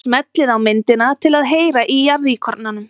Smellið á myndina til að heyra í jarðíkornanum.